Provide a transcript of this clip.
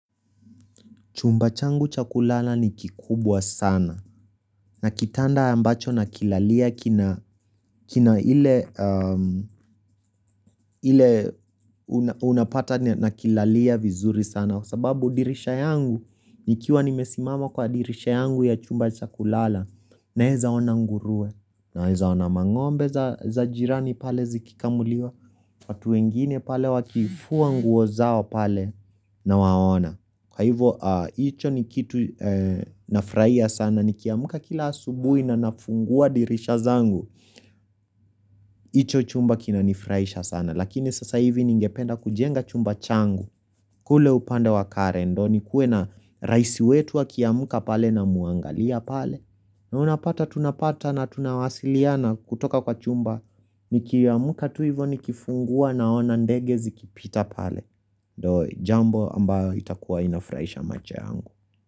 Chumba changu cha kulala ni kikubwa sana na kitanda ambacho nakilalia kina ile unapata na kilalia vizuri sana. Kwa sababu dirisha yangu, nikiwa nimesimama kwa dirisha yangu ya chumba cha kulala naweza ona ngurue naweza ona mangombe za jirani pale zikikamuliwa watu wengine pale wakifua nguo zao pale nawaona. Kwa hivo, hicho ni kitu nafraia sana, nikiamka kila asubui na nafungua dirisha zangu, hicho chumba kinanifraisha sana. Lakini sasa hivi ningependa kujenga chumba changu, kule upanda wa karen ndio, ni kue na raisi wetu akiamka pale namuangalia pale. Na unapata, tunapata na tunawasiliana kutoka kwa chumba, ni kiamuka tu hivo ni kifungua naona ndege zikipita pale. Jambo ambayo itakuwa inafraisha macho yangu.